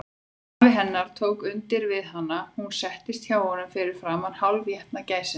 Afi hennar tók undir við hana, og hún settist hjá honum fyrir framan hálfétna gæsina.